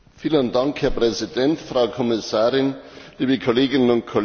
Herr Präsident, Frau Kommissarin, liebe Kolleginnen und Kollegen!